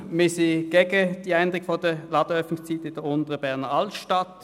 Wir sind gegen die Änderung der Ladenöffnungszeiten in der Unteren Berner Altstadt.